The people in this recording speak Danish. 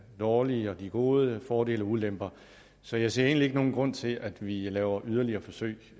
dårlige og de gode fordele og ulemper så jeg ser egentlig ikke nogen grund til at vi laver yderligere forsøg